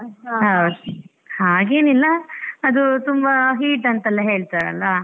ಹೌದ್ ಹಾಗೇನಿಲ್ಲ ಅದು ತುಂಬಾ heat ಅಂತೆಲ್ಲ ಹೇಳ್ತಾರಲ್ಲ.